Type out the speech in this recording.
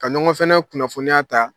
Ka ɲɔgɔn fana kunnafoniya ta